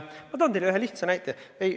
Ma toon teile ühe lihtsa näite.